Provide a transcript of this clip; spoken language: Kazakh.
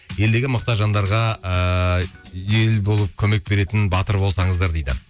елдегі мұқтаж жандарға ыыы ел болып көмек беретін батыр болсаңыздар дейді